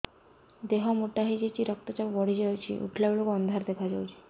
ଦେହ ମୋଟା ହେଇଯାଉଛି ରକ୍ତ ଚାପ ବଢ଼ି ଯାଉଛି ଉଠିଲା ବେଳକୁ ଅନ୍ଧାର ଦେଖା ଯାଉଛି